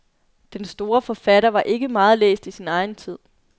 Den store forfatter var ikke meget læst i sin egen tid.